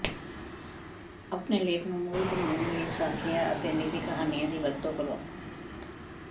ਆਪਣੇ ਲੇਖ ਨੂੰ ਮੂਲ ਬਣਾਉਣ ਲਈ ਸਾਖੀਆਂ ਅਤੇ ਨਿੱਜੀ ਕਹਾਣੀਆਂ ਦੀ ਵਰਤੋਂ ਕਰੋ